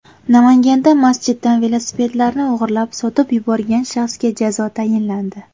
Namanganda masjiddan velosipedlarni o‘g‘irlab, sotib yuborgan shaxsga jazo tayinlandi.